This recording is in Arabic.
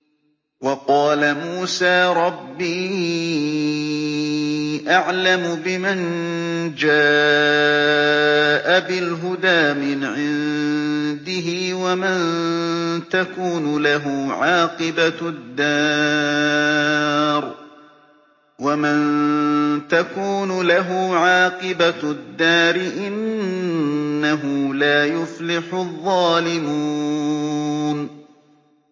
وَقَالَ مُوسَىٰ رَبِّي أَعْلَمُ بِمَن جَاءَ بِالْهُدَىٰ مِنْ عِندِهِ وَمَن تَكُونُ لَهُ عَاقِبَةُ الدَّارِ ۖ إِنَّهُ لَا يُفْلِحُ الظَّالِمُونَ